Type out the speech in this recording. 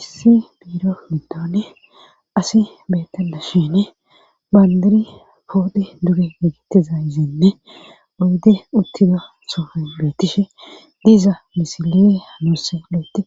Issi biiro midone asi beettada shene bandari poodhe duge gegittiza yizeenne uddi uttida sohoy beettishe diza misilele hanoosse lueti